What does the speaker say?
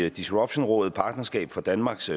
i disruptionrådet partnerskab for danmarks